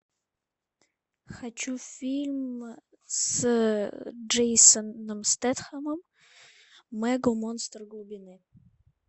хочу фильм с джейсоном стетхемом мег монстр глубины